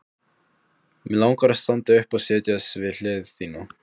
Mig langar að standa upp og setjast við hlið þína.